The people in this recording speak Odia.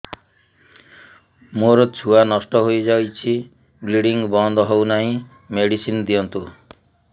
ମୋର ଛୁଆ ନଷ୍ଟ ହୋଇଯାଇଛି ବ୍ଲିଡ଼ିଙ୍ଗ ବନ୍ଦ ହଉନାହିଁ ମେଡିସିନ ଦିଅନ୍ତୁ